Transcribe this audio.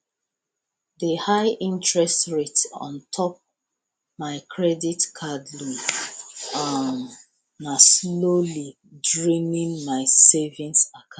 di highinterest rate on top mai credit card loan um na slowly draining mai savings account